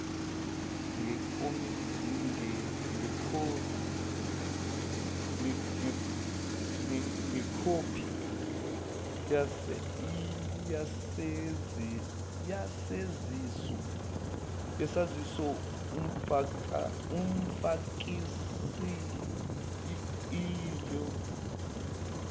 ngekhophi yesaziso umfakisieelo